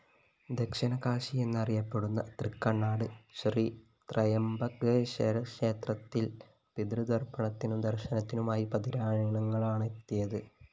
ദക്ഷിണകാശി എന്നറിയപ്പെടുന്ന തൃക്കണ്ണാട് ശ്രീ ത്രയംബകേശ്വരക്ഷേത്രത്തില്‍ പിതൃതര്‍പ്പണത്തിനും ദര്‍ശനത്തിനുമായി പതിനായിരങ്ങളാണെത്തിയത്